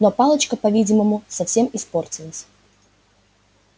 но палочка по-видимому совсем испортилась